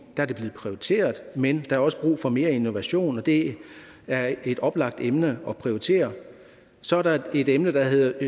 er det blevet prioriteret men der er også brug for mere innovation og det er et oplagt emne at prioritere så er der et emne der